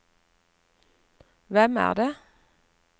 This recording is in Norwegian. hvem er det